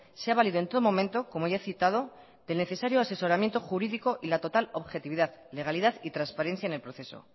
se ha valido en todo momento como ya he citado del necesario asesoramiento jurídico y la total objetividad legalidad y transparencia en el proceso